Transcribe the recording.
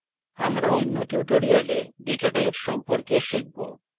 আমরা অন্য tutorial data types সম্পর্কে শিখব